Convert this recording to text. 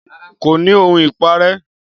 Kò ní ohun ìparẹ́